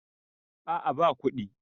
a a ba kuɗi